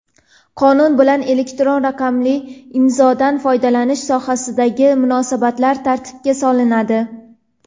Qonun bilan elektron raqamli imzodan foydalanish sohasidagi munosabatlar tartibga solinadi.